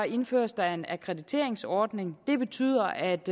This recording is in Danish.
indføres der en akkrediteringsordning det betyder at